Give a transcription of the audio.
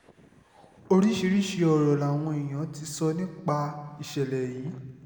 oríṣiríṣiì ọ̀rọ̀ làwọn èèyàn ti sọ nípa ìṣẹ̀lẹ̀ yìí